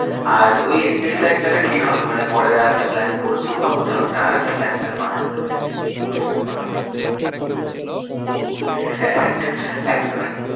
আর ওই একত্রিশ তারিখ তাহলে ঠিক হবে মানে পরে আরেকটা plan বোলপুর বা কোথাও একটা আরেকটা plan তাহলে বানানো যাবে সেদিন সবার সাথে কথা বলে। হ্যাঁ একদম একদম।